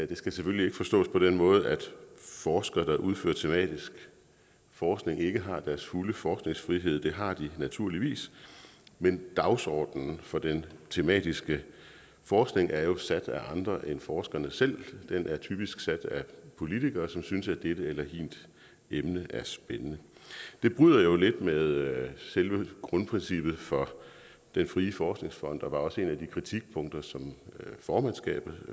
det skal selvfølgelig ikke forstås på den måde at forskere der udfører tematisk forskning ikke har deres fulde forskningsfrihed det har de naturligvis men dagsordenen for den tematiske forskning er jo sat af andre end forskerne selv den er typisk sat af politikere som synes at dette eller hint emne er spændende det bryder jo lidt med selve grundprincippet for den frie forskningsfond og det var også et af de kritikpunkter som formandskabet